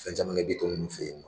Fɛn caman kɛ Bitɔn ninnu fɛ yen.